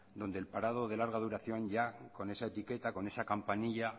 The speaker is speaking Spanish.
donde el parado de larga duración ya con esa etiqueta con esa campanilla